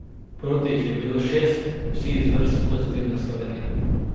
Proti jih je bilo šest, vsi iz vrst Pozitivne Slovenije.